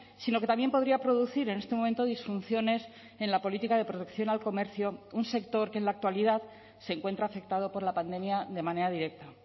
sino que también podría producir en este momento disfunciones en la política de protección al comercio un sector que en la actualidad se encuentra afectado por la pandemia de manera directa